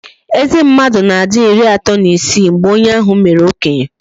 Eze mmadụ na-adi ịrị atọ na isii mgbe onye ahụ mere okenye